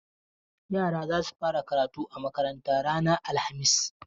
Yara za su fara karatu a makarantar ranar alhamis.